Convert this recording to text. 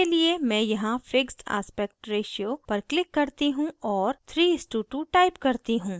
इसके लिए मैं यहाँ fixed aspect ratio पर क्लिक करती हूँ और 3:2 type करती हूँ